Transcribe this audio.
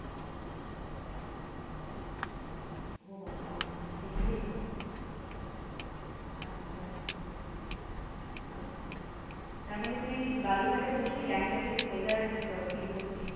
ও বাবা সেকি রে আচ্ছা বাহ তার মানে তুই বালুর ঘাটে বসেই গ্যাংটক এর weather feel করছিস?